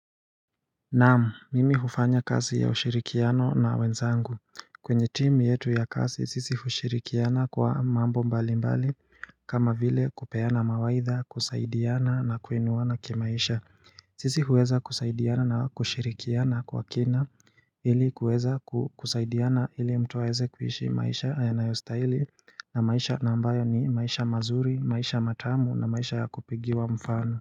Naamu mimi hufanya kasi ya ushirikiano na wenzangu kwenye timu yetu ya kasisi sisi ushirikiana kwa mambo mbali mbali kama vile kupeana mawaidha kusaidiana na kuinuwana kimaisha Sisi huweza kusaidiana na kushirikiana kwa kina ili kuweza kusaidiana ili mtu aweze kuhishi maisha yanayostahili na maisha ambayo ni maisha mazuri maisha matamu na maisha ya kupigiwa mfano.